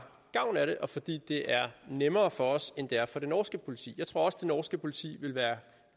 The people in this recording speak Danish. gavn af det og fordi det er nemmere for os end det er for det norske politi jeg tror også det norske politi ville være